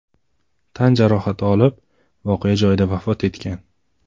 tan jarohati olib, voqea joyida vafot etgan.